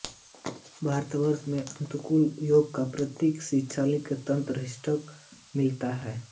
भारतवर्ष में अतिनूतन युग का प्रतीक शिवालिक तंत्र सिस्टम में मिलता है